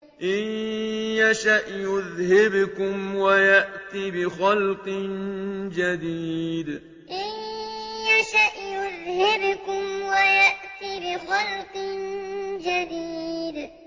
إِن يَشَأْ يُذْهِبْكُمْ وَيَأْتِ بِخَلْقٍ جَدِيدٍ إِن يَشَأْ يُذْهِبْكُمْ وَيَأْتِ بِخَلْقٍ جَدِيدٍ